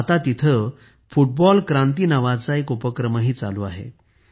आता येथे फुटबॉल क्रांती नावाचा एक उपक्रमही चालू आहे